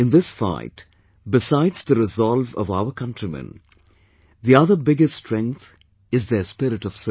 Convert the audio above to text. in this fight, besides the resolve of our countrymen, the other biggest strength is their spirit of service